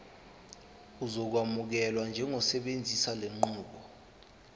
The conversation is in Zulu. uzokwamukelwa njengosebenzisa lenqubo